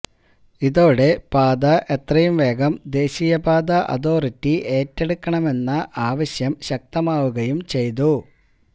ഇതോടെ പാത എത്രയും വേഗം ദേശീയ പാത അതോറിറ്റി ഏറ്റെടുക്കണമെന്ന ആവശ്യം ശക്തമാകുകയും ചെയ്തു